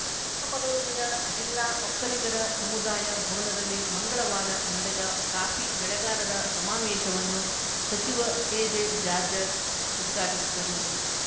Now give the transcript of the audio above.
ಚಿಕ್ಕಮಗಳೂರಿನ ಜಿಲ್ಲಾ ಒಕ್ಕಲಿಗರ ಸಮುದಾಯ ಭವನದಲ್ಲಿ ಮಂಗಳವಾರ ನಡೆದ ಕಾಫಿ ಬೆಳೆಗಾರರ ಸಮಾವೇಶವನ್ನು ಸಚಿವ ಕೆಜೆ ಜಾರ್ಜರ್ ಉದ್ಘಾಟಿಸಿದರು